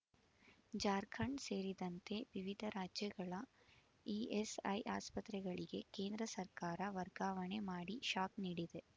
ಜಾರ್ಖಂಡ್ ಸೇರಿದಂತೆ ವಿವಿಧ ರಾಜ್ಯಗಳ ಇಎಸ್‌ಐ ಆಸ್ಪತ್ರೆಗಳಿಗೆ ಕೇಂದ್ರ ಸರ್ಕಾರ ವರ್ಗಾವಣೆ ಮಾಡಿ ಶಾಕ್ ನೀಡಿದೆ